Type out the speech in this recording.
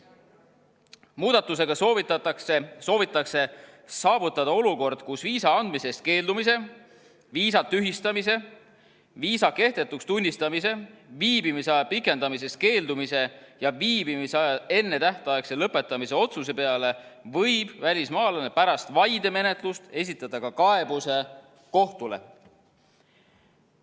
Muudatusega soovitakse saavutada olukord, kus viisa andmisest keeldumise, viisa tühistamise, viisa kehtetuks tunnistamise, viibimisaja pikendamisest keeldumise ja viibimisaja ennetähtaegse lõpetamise otsuse peale võib välismaalane pärast vaidemenetlust esitada ka kaebuse kohtule.